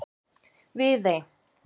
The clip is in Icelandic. Viðey